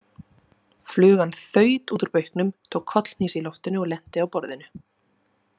Flugan þaut út úr bauknum, tók kollhnís í loftinu og lenti á borðinu.